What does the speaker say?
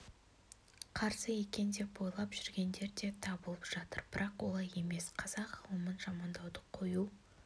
қарсы екен деп ойлап жүргендер де табылып жатыр бірақ олай емес қазақ ғылымын жамандауды қою